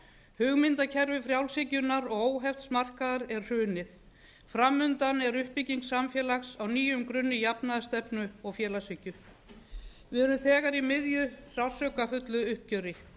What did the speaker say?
hugmyndakerfi frjálshyggjunnar og óhefts markaðar er hrunið fram undan er uppbygging samfélags á nýjum grunni jafnaðarstefnu og félagshyggju við erum þegar í miðju sársaukafullu uppgjöri